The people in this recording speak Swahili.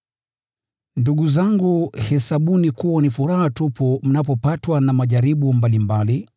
Ndugu zangu, hesabuni kuwa ni furaha tupu mnapopatwa na majaribu mbalimbali,